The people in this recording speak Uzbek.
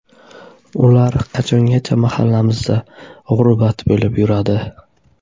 Ular qachongacha mahallamizda g‘urbat bo‘lib yuradi?